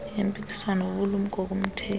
yempikiswano bubulumko kumthengi